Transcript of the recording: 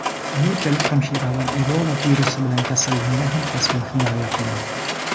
Amerikalik hamshiralar Ebola virusi bilan kasallangan hamkasbini himoya qilmoqda.